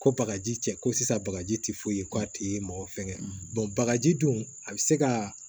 Ko bakaji cɛ ko sisan bagaji tɛ foyi ye ko a ti mɔgɔ fɛngɛ bagaji dun a be se kaa